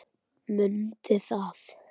Mundi það.